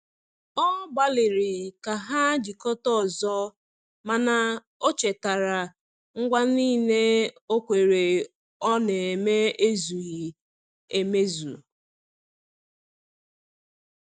Ọ gbaliri ka ha jikota ọzọ, mana o chetara ngwa nile okwere ọ na eme zughi emezụ